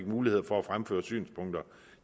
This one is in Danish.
mulighed for at fremføre deres synspunkter